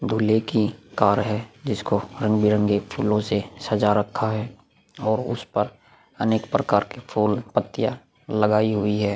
दूल्हे की कार है जिसको रंग-बिरंगे फूलो से सजा रखा है और उस पर अनेक प्रकार की फूल पत्तिया लगाई हुई है।